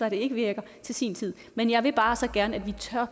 at det ikke virker til sin tid men jeg vil bare så gerne